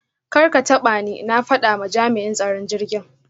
Karkatabani! na fada ma jam'in tsaron jirgin.